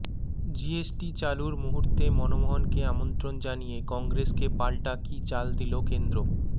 GST চালুর মুহূর্তে মনমোহনকে আমন্ত্রণ জানিয়ে কংগ্রেসকে পাল্টা কী চাল দিল কেন্দ্র